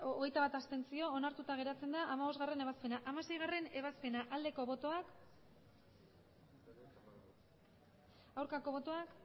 berrogeita hamalau abstentzioak hogeita bat onartuta geratzen da hamabostgarrena ebazpena hamaseigarrena ebazpena aldeko botoak aurkako botoak